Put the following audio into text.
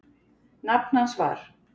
Nafn hans var